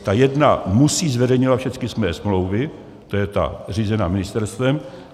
Ta jedna musí zveřejňovat všechny své smlouvy, to je ta řízená ministerstvem;